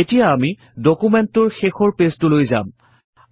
এতিয়া আমি ডুকুমেন্টটোৰ শেষৰ পেজটোলৈ যাম